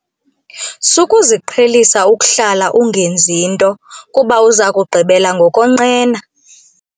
Sukuziqhelisa ukuhlala ungenzi nto kuba uza kugqibela ngokonqena.